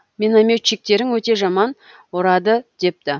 минометчиктерің өте жаман ұрады депті